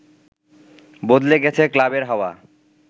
বদলে গেছে ক্লাবের হাওয়া